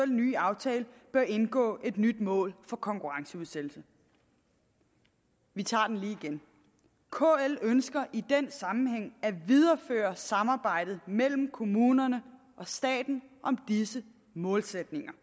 ny aftale bør indgå et nyt mål for konkurrenceudsættelse vi tager den lige igen kl ønsker i den sammenhæng at videreføre samarbejdet mellem kommunerne og staten om disse målsætninger